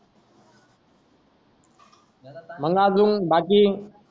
मंग अजून बाकी